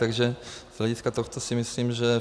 Takže z hlediska tohoto si myslím, že